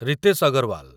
Ritesh Agarwal